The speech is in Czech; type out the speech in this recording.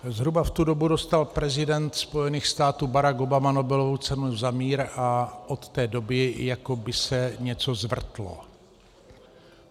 Zhruba v tu dobu dostal prezident Spojených států Barack Obama Nobelovu cenu za mír a od té doby jako by se něco zvrtlo.